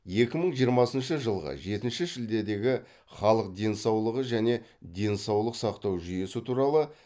екі мың жиырмасыншы жылғы жетінші шілдедегі халық денсаулығы және денсаулық сақтау жүйесі туралы